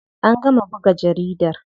An gama buga jaridar.